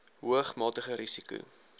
hoog matige risiko